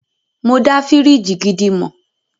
Mọ dá fíríjì gidi mọ̀.